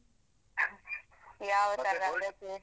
ಯಾವತರ ಅದಕ್ಕೆ.